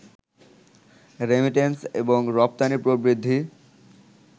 remittance এবং রপ্তানি প্রবৃদ্ধি